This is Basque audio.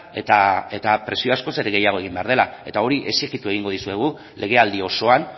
eta presio askoz ere gehiago egin behar dela eta hori exijitu egingo dizuegu legealdi osoan